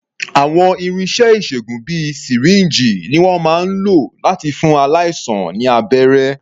Àwọn irinṣẹ́ ìṣègùn bíi sìríǹjì ni wọ́n máa ń lò láti fún aláìsàn ní abẹ́rẹ́.